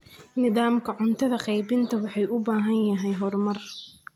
Nidaamka cunto qaybinta wuxuu u baahan yahay horumar.